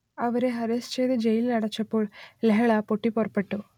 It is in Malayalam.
അവരെ അറസ്റ്റ് ചെയ്ത് ജയിലിലടച്ചപ്പോൾ ലഹള പൊട്ടിപ്പുറപ്പെട്ടു